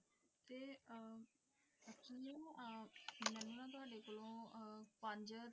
ਪੰਜੇਰ